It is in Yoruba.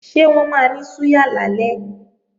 Ṣé wọ́n máa ní súyà lálẹ́?